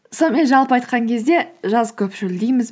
сонымен жалпы айтқан кезде жаз көп шөлдейміз